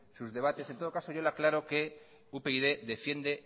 sus debates en todo caso yo le aclaro que upyd defiende